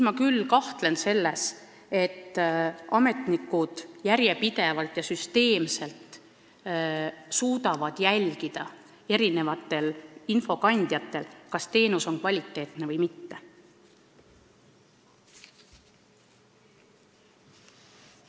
Ma küll kahtlen, kas ametnikud suudavad järjepidevalt ja süsteemselt eri infokandjatelt jälgida, kas õigusabi on kvaliteetne või mitte.